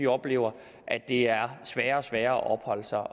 oplever at det er sværere og sværere at opholde sig